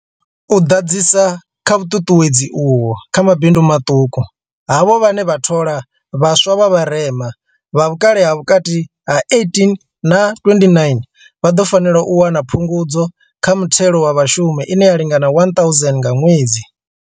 U ḓadzisa kha vhuṱuṱuwedzi uho kha mabindu maṱuku, havho vhane vha thola vhaswa vha vharema, vha vhukale ha vhukati ha 18 na 29, vha ḓo fanela u wana Phungudzo kha Muthelo wa Vhashumi ine ya lingana R1 000 nga ṅwedzi.